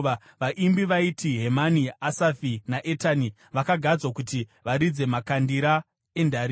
Vaimbi vaiti Hemani, Asafi naEtani vakagadzwa kuti varidze makandira endarira.